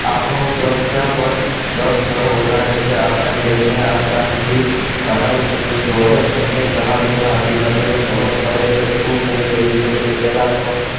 આપણું સંખ્યાબળ દસ ઘણું વધારે છે આપણે તેમને આસાનીથી હરાવી શકી છુ અરે બંને જહાજોના અધિકારીઓને ખબર પડે કે શું થઈ રહ્યું છે તે પહેલા તો